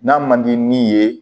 N'a man di min ye